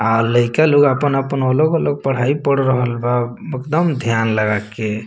अ लइका लोग अपन-अपन अलग-अलग पढ़ाई पढ़ रहल बा एकदम ध्यान लगा के।